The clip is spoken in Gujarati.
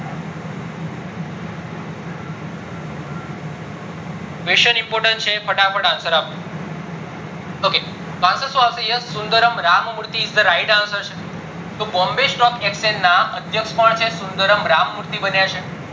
question important છે ફટાફટ answer આપો ok answer સુ આવશે yes Sundaram Ram Murthy is the right answer છે તો bombay stock exchange ના અધ્યક્ષ કોન છે તો સુંદર રામ મૂર્તિ બન્યા છે